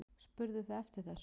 Spurðuð þið eftir þessu?